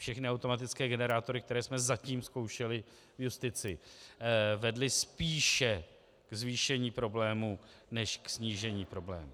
Všechny automatické generátory, které jsme zatím zkoušeli v justici, vedly spíše k zvýšení problémů než k snížení problémů.